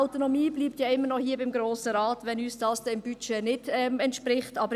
Würden uns diese im Budget nicht entsprechen, bliebe die Autonomie beim Grossen Rat.